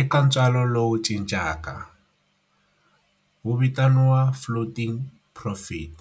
Eka ntswalo lowu cincaka, wu vitaniwa floating profit.